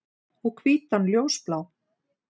Og hvítan ljósblá.